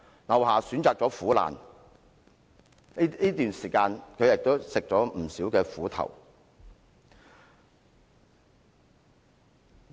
劉霞選擇了苦難，這段時間她吃了不少苦頭。